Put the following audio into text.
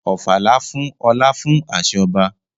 Ofala fún ọlá fún àṣẹ ọba.